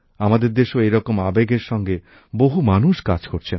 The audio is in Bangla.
আমাদের দেশেও এই রকম আবেগের সঙ্গে বহু মানুষ কাজ করছেন